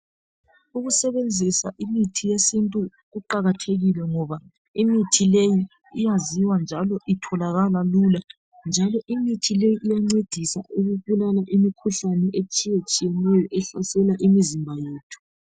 Ukusebenzisa imithi yesintu kuqakathekile ngoba imithi leyo iyaziwa njalo itholakala lula njalo imithi leyo iyancedisa ukubulala imikhuhlane etshiye tshiyeneyo ehlasela imizimba yethu.